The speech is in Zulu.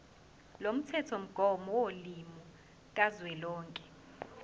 lomthethomgomo wolimi kazwelonke